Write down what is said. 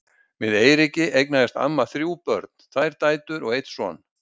Með Eiríki eignaðist amma þrjú börn, tvær dætur og einn son.